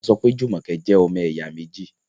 wọ́n sọpẹ́ Jumoke jẹ́ “ ọmọ ẹ̀yà méjì ”.